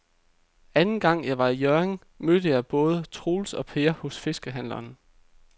Anden gang jeg var i Hjørring, mødte jeg både Troels og Per hos fiskehandlerne.